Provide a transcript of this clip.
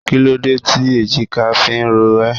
Kí ló dé tí èjìká fi ń rò ẹ?